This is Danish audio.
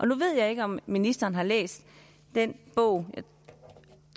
nu ved jeg ikke om ministeren har læst den bog